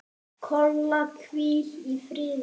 Kolla, hvíl í friði.